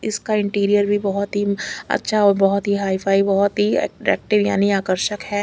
इस का इंटीरियर भी बहोत ही अच्छा और बहोत ही हाई फाइव बहोत अट्रैक्टिव यानि आकर्षक है।